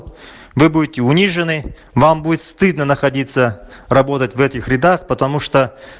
вы будете унижены вам будет стыдно находиться работать в этих рядах потому что